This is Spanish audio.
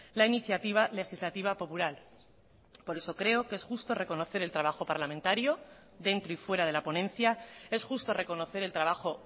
la iniciativa legislativa popular por eso creo que es justo reconocer el trabajo parlamentario dentro y fuera de la ponencia es justo reconocer el trabajo